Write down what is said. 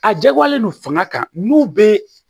A jagoyalen don fanga kan n'u bɛ